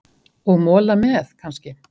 Og mola með, kannski?